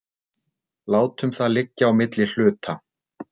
látum það liggja á milli hluta